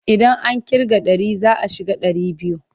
Idan aka ƙirga ɗari za a shiga ɗari biyu.